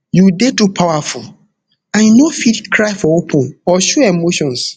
you dey too powerful and you no fit cry for open or show emotions